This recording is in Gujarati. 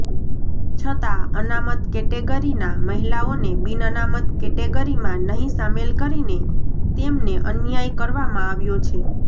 છતાં અનામત કેટેગરીના મહિલાઓને બિનઅનામત કેટેગરીમાં નહિ સામેલ કરીને તેમને અન્યાય કરવામાં આવ્યો છે